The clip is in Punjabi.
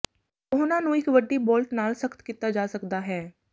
ਉਹਨਾਂ ਨੂੰ ਇੱਕ ਵੱਡੀ ਬੋਲਟ ਨਾਲ ਸਖ਼ਤ ਕੀਤਾ ਜਾ ਸਕਦਾ ਹੈ